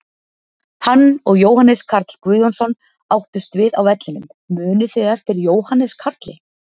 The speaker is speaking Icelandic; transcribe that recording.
Hann og Jóhannes Karl Guðjónsson áttust við á vellinum, munið þið eftir Jóhannes Karli?